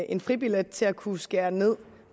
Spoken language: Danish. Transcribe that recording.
en fribillet til at kunne skære ned